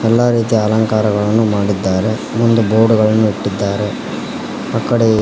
ಎಲ್ಲಾ ರೀತಿಯ ಅಲಂಕಾರಗಳನ್ನು ಮಾಡಿದ್ದಾರೆ ಮುಂದ್ ಬೋರ್ಡ್ ಗಳನ್ನು ಇಟ್ಟಿದ್ದಾರೆ ಆಕಡೆ --